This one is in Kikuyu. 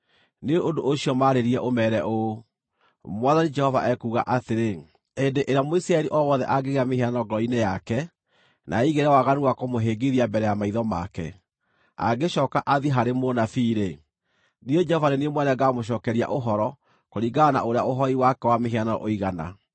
Nĩ ũndũ ũcio maarĩrie, ũmeere ũũ, ‘Mwathani Jehova ekuuga atĩrĩ: Hĩndĩ ĩrĩa Mũisiraeli o wothe angĩgĩa mĩhianano ngoro-inĩ yake, na eigĩre waganu wa kũmũhĩngithia mbere ya maitho make, angĩcooka athiĩ harĩ mũnabii-rĩ, niĩ Jehova nĩ niĩ mwene ngaamũcookeria ũhoro kũringana na ũrĩa ũhooi wake wa mĩhianano ũigana,